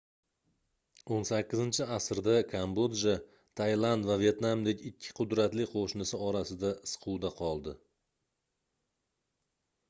18-asrda kambodja tailand va vetnamdek ikki qudratli qoʻshnisi orasida siquvda qoldi